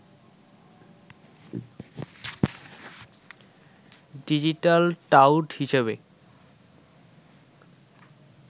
digital tout হিসেবে